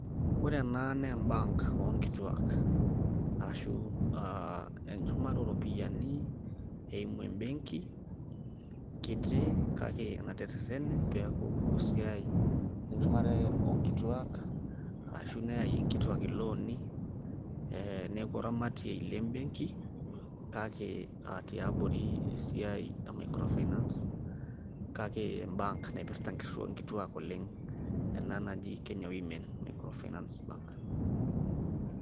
Ore ena na e bank onkituak. Arashu enchumata oropiyiani eimu ebenki, kiti kake enaterrerrene peeku esiai, enchumare onkituak, ashu neyayie inkituak ilooni. Eh neeku oramatiei le benki, kake a tiabori esiai e micro finance ,kake e bank naipirta inkituak oleng',ena naji Kenya Women micro finance bank.